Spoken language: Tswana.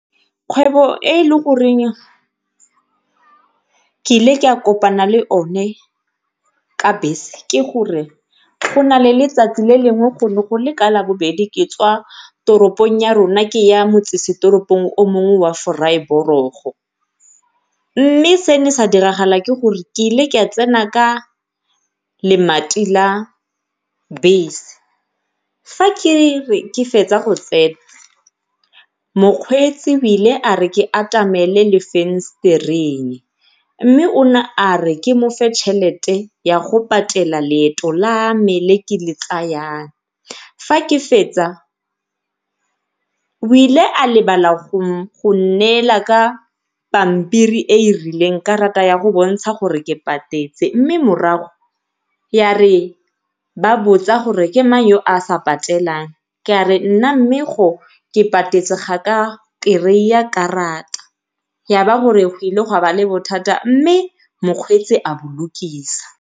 Kgwebo e e le goreng ke ile ke a kopana le one ka bese ke gore go nale letsatsi le lengwe go ne go le ka labobedi ke tswa toropong ya rona ke ya motsesetoropong o mongwe wa , mme se ne sa diragala ke gore ke ile ka tsena ka la bese. Fa ke re ke fetsa go tsena mokgweetsi o ile are ke atamele mme o ne a re ke mofe tšhelete ya go patela leeto la me le ke le tsayang. Fa ke fetsa o ile a lebala go nnela ka pampiri e e rileng karata ya go bontsha gore ke patetse, mme morago ya re ba botsa gore ke mang ya a sa patelang ke a re mme nna ke patetse mme ga ka kry-a karata gore go ile le bothata mme mokgweetsi a bolokisa.